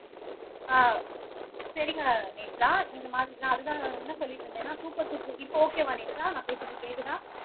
ஆஹ் சரிங்க நேத்ரா இந்த மாதிரி நான் அதுதான் என்ன சொல்லிட்டு இருந்தேன்னா சூப்பர் சூப்பர் சுப்பு இப்ப ஓக்கேவா நான் பேசுறது கேட்குதா